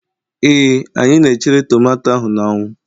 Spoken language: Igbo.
Ee, anyị na chere tomato ahụ n'anwu